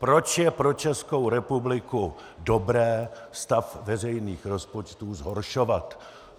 Proč je pro Českou republiku dobré stav veřejných rozpočtu zhoršovat?